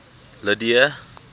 lydia